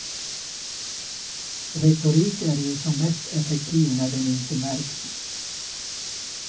Retorik är ju som mest effektiv när den inte märks.